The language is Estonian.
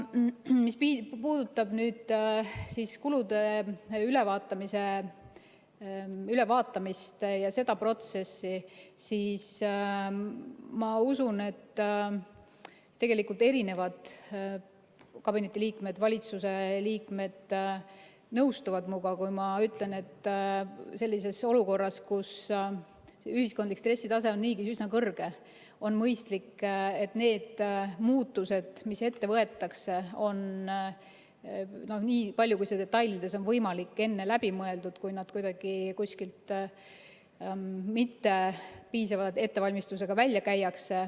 Mis puudutab kulude ülevaatamist ja seda protsessi, siis ma usun, et tegelikult kabineti liikmed, valitsuse liikmed, nõustuvad minuga, kui ma ütlen, et sellises olukorras, kus ühiskondlik stressitase on niigi üsna kõrge, on mõistlik, et need muutused, mis ette võetakse, on nii palju, kui detailides on võimalik, enne läbi mõeldud, kui need kuidagi kuskil mittepiisava ettevalmistusega välja käiakse.